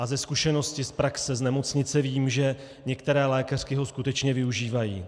A ze zkušenosti z praxe z nemocnice vím, že některé lékařky ho skutečně využívají.